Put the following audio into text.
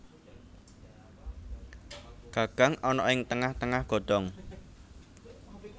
Gagang ana ing tengah tengah godhong